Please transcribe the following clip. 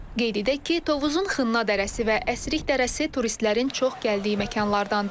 Qeyd edək ki, Tovuzun Xınna dərəsi və Əsrik dərəsi turistlərin çox gəldiyi məkanlardandır.